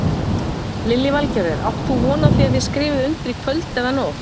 Lillý Valgerður: Átt þú von á því að þið skrifið undir í kvöld eða nótt?